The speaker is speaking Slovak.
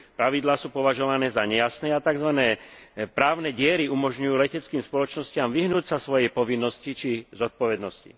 Pravidlá sú považované za nejasné a tzv. právne diery umožňujú leteckým spoločnostiam vyhnúť sa svojej povinnosti či zodpovednosti.